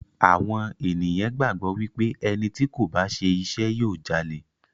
Àwọn ènìyàn gbàgbọ́ wípé ẹni tí kò bá ṣe iṣẹ́ yóò Jalè.